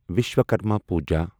Vishwakarma Puja